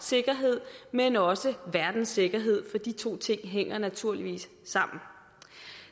sikkerhed men også verdens sikkerhed for de to ting hænger naturligvis sammen